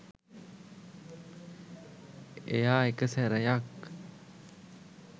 එයා එක සැරයක්